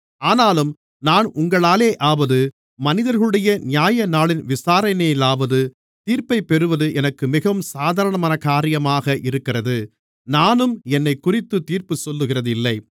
ஆனாலும் நான் உங்களாலேயாவது மனிதர்களுடைய நியாயநாளின் விசாரணையினாலோ தீர்ப்பைப்பெறுவது எனக்கு மிகவும் சாதாரண காரியமாக இருக்கிறது நானும் என்னைக்குறித்துத் தீர்ப்புச்சொல்லுகிறதில்லை